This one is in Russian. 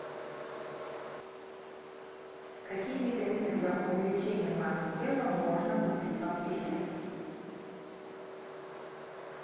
какие витамины для увеличение массы тела можно купить в аптеке